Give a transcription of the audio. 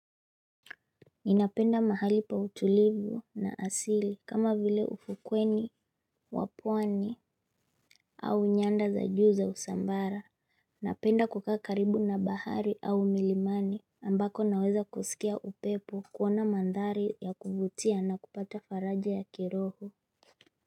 Ninapenda mahali pa utulivu na asili kama vile ufukweni wa pwani au nyanda za juu za usambara Napenda kukaa karibu na bahari au milimani ambako naweza kusikia upepo, kuona mandhari ya kuvutia na kupata faraja ya kiroho.